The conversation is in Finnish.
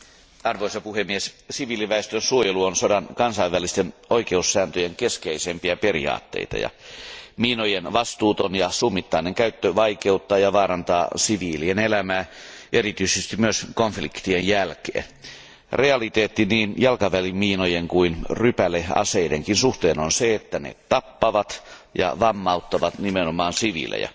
Arvoisa puhemies, siviiliväestön suojelu on sodan kansainvälisten oikeussääntöjen keskeisempiä periaatteita, ja miinojen vastuuton ja summittainen käyttö vaikeuttaa ja vaarantaa siviilien elämää erityisesti myös konfliktien jälkeen. Realiteetti niin jalkaväkimiinojen kuin rypäleaseidenkin suhteen on se, että ne tappavat ja vammauttavat nimenomaan siviilejä.